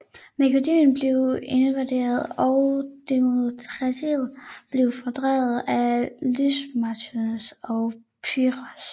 Makedonien blev invaderet og Demetrios blev fordrevet af Lysimachos og Pyrrhos